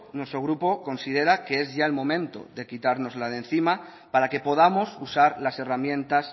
nuestro grupo considera que es ya el momento de quitárnosla de encima para que podamos usar las herramientas